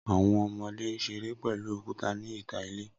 Awọn ọmọde n ṣere pẹlu okuta ni ita ile.